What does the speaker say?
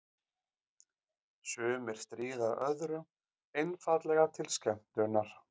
Sumir stríða öðrum einfaldlega til skemmtunar.